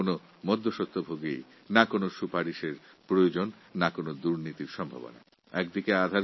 এর মধ্যে কোনও দালাল বা সুপারিশের প্রয়োজন নেই বা দুর্ণীতির সম্ভাবনাও নেই